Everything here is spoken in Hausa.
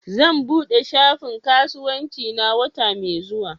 Zan buɗe shafin kasuwancina wata mai zuwa